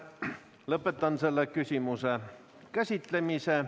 Lõpetan selle küsimuse käsitlemise.